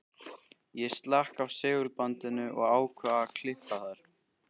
Ég slekk á segulbandinu og ákveð að klippa þær.